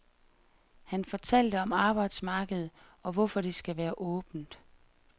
Han fortalte om arbejdsmarkedet, og hvorfor det skal være åbent.